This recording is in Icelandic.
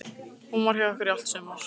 Hún var hjá ykkur í allt sumar.